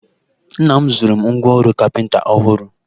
Nna m zụụrụ m ngwa ọrụ kapịnta ọhụrụ